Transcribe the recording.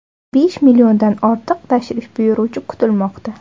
Besh milliondan ortiq tashrif buyuruvchi kutilmoqda.